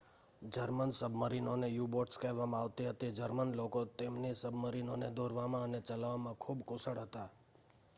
German સબમરીનોને U boats કહેવામાં આવતી હતી જર્મન લોકો તેમની સબમરીનોને દોરવામાં અને ચલાવવામાં ખૂબ કુશળ હતા